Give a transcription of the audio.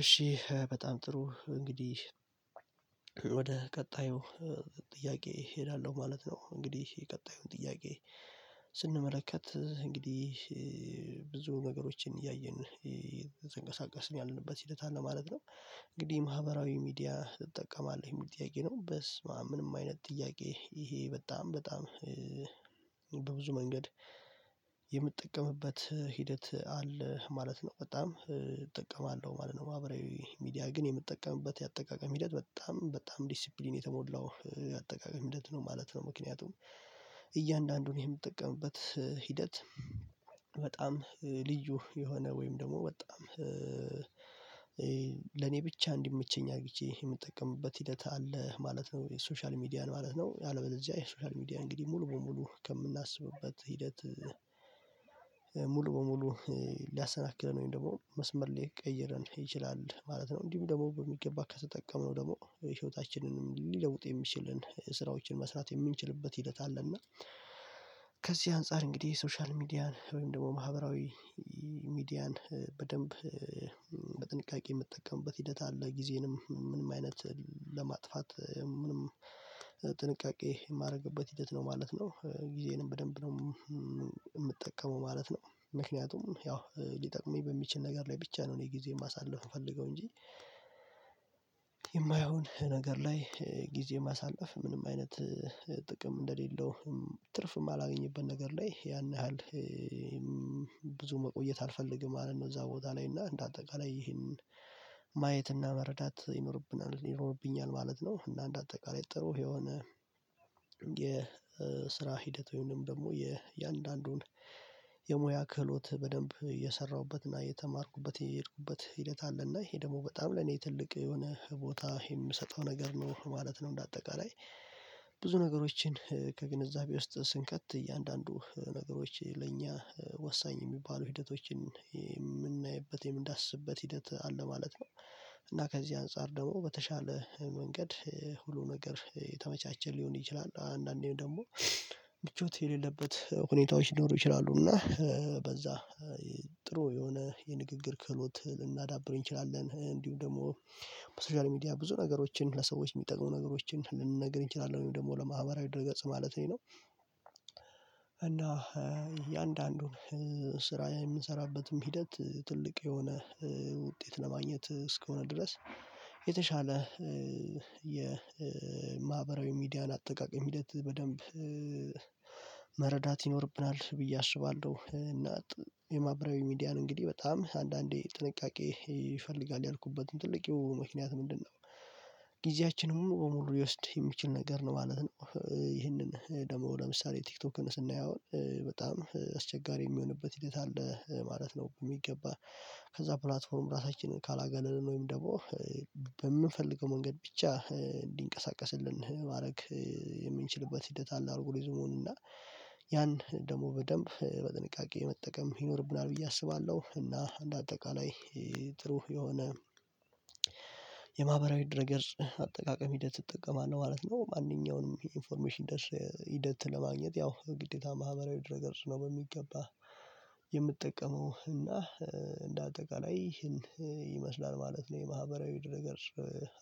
እሺ በጣም ጥሩ እንግዲህ ወደ ቀጣዩ እ ጥያቄ እሄዳለሁ ማለት ነው። እንግዲህ የቀጣዩን ጥያቄ ስንመለከት እንግዲህ እ ብዙ ነገሮችን እያየን እ እየተንቀሳቀስን ያለንበት ሂደት አለ ማለት ነው። እንግዲህ ማህበራዊ ሚዲያ እጠቀማለሁ የሚል ጥያቄ ነው በስምአም ምንም አይነት ጥያቄ ይሄ በጣም በጣም በብዙ መንገድ የምጠቀምበት ሂደት አለ ማለት ነው በጣም እጠቀማለሁ ማለት ነው ማህበራዊ ሚዲያ ግን የምጠቀምበት የአጠቃቀም ሂደት በጣም በጣም ዲሲፕሊን የተሞላው የአጠቃቀም ሂደት ነው ማለት ነው። ምክንያቱም እያንዳንዱን የምጠቀምበት ሂደት በጣም ልዩ የሆነ ወይም ደግሞ በጣም ለኔ ብቻ እንዲመቸኝ አርግቼ የምጠቀምበት ሂደት አለ ማለት ነው። ሶሻል ሚዲያን ማለት ነው ያለበዚያ የሶሻል ሚዲያ እንግዲህ ሙሉ በሙሉ ከምናስብበት ሂደት እ ሙሉ በሙሉ ሊያሰናክለን ወይም ደግሞ መስመር ሊቀይረን ይችላል ማለት ነው። እንዲሁም ደግሞ በሚገባ ከተጠቀመው ደግሞ ህይወታችንንም ሊለውጥ የሚችልን ስራዎችን መስራት የምንችልበት ሂደት አለና። ከዚህ አንፃር እንግዲህ ሶሻል ሚዲያን ወይም ደግሞ ማህበራዊ ሚዲያን በደንብ በጥንቃቄ የምጠቀምበት ሂደት አለ ጊዜንም ምንም አይነት ለማጥፋት ምንም ጥንቃቄ የማደርግበት ሂደት ነው ማለት ነው። ጊዜንም በደንብ ነው የምጠቀመው ማለት ነው ምክንያቱም ያው ሊጠቅመኝ በሚችል ነገር ላይ ብቻ ነው እኔ ጊዜዬን ማሳለፍ የምፈልገው እንጂ። ነገር ላይ ጊዜ ማሳለፍ ምንም አይነት ጥቅም እንደሌለው ትርፍ የማላገኝበት ነገር ላይ ያን ያህል እ እም ብዙ መቆየት አልፈልግም ማለት ነው። እዛ ቦታ ላይ እና እንደ አጠቃላይ ይሄንን ማየት እና መረዳት ይኖርብናል ይኖርብኛል ማለት ነው። እና እንደ አጠቃላይ ጥሩ የሆነ የስራ ሂደት ወይንም ደግሞ የእያንዳንዱን የሙያ ክህሎት በደንብ እየሰራሁበትና እየተማርኩበት የሄድኩበት ሂደት አለና ይሄ ደግሞ በጣም ለኔ ትልቅ የሆነ ቦታ የምሰጠው ነገር ነው ማለት ነው። እንደ አጠቃላይ ብዙ ነገሮችን ከግንዛቤ ውስጥ ስንከት እያንዳንዱ ነገሮች ለእኛ ወሳኝ የሚባሉ ሂደቶችን የምናይበት የምንዳስስበት ሂደት አለ ማለት ነው። እና ከዚህ አንፃር ደግሞ በተሻለ መንገድ ሁሉ ነገር የተመቻቸ ሊሆን ይችላል አንዳንዴም ደግሞ ምቾት የሌለበት ሁኔታዎች ሊኖሩ ይችላሉ እና እ በዛ እ ጥሩ የሆነ የንግግር ክህሎት ልናዳብረው እንችላለን። እንዲሁ ደግሞ በሶሻል ሚዲያ ብዙ ነገሮችን ለሰዎች የሚጠቅሙ ነገሮችን ልንነግር እንችላለን ወይም ደግሞ ለማህበራዊ ድር ገጽ ማለት ነው እና እያንዳንዱን ስራ የምንሰራበትም ሂደት ትልቅ የሆነ ውጤት ለማግኘት እስከሆነ ድረስ የተሻለ እ የማህበራዊ እ ሚዲያን አጠቃቀም ሂደት በደንብ መረዳት ይኖርብናል ብዬ አስባለሁ። እና የማበራዊ ሚዲያን እንግዲህ በጣም አንዳንዴ ጥንቃቄ ይፈልጋል ያልኩበት ትልቁ ምክንያት ምንድነው? ጊዜያችንን ሙሉ በሙሉ ሊወስድ የሚችል ነገር ነው ማለት ነው። ይህንን ደግሞ ለምሳሌ ቲክቶክን ስናየው በጣም አስቸጋሪ የሚሆንበት ሂደት አለ ማለት ነው። የሚገባ ከዛ ፕላትፎርም ራሳችንን ካላገለልን ወይም ደግሞ በምንፈልገው መንገድ ብቻ እንዲንቀሳቀስልን ማድረግ የምንችልበት ሂደት አለ አልጎሪዝሙን እና ያን ደግሞ በደንብ በጥንቃቄ መጠቀም ይኖርብናል ብዬ አስባለሁ። እና እንደ አጠቃላይ ጥሩ የሆነ የማህበራዊ ድረ ገጽ አጠቃቀም ሂደት እጠቀማለህ ማለት ነው። ማንኛውንም ኢንፎርሜሽን ደርሰህ ሂደት ለማግኘት ያው ግዴታ ማህበራዊ ድረገጽ ነው በሚገባህ የምጠቀመው እና እ እንደ አጠቃላይ ይህን ይመስላል ማለት ነው። የማህበራዊ ድረ ገጽ